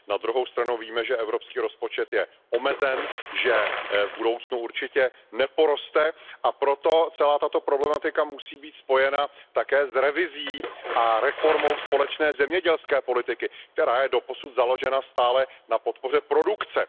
Na druhou stranu víme, že Evropský rozpočet je omezen, že v budoucnu určitě neporoste, a proto celá tato problematika musí být spojena také s revizí a reformou společné zemědělské politiky, která je doposud založena stále na podpoře produkce.